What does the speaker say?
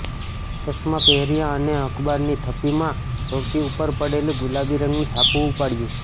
ચશ્માં પહેર્યા અને અખબારની થપ્પીમાં સૌથી ઉપર પડેલું ગુલાબી રંગનું છાપું ઉપાડ્યું